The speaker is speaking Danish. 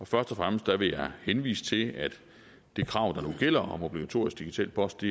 først og fremmest vil jeg henvise til at det krav der nu gælder om obligatorisk digital post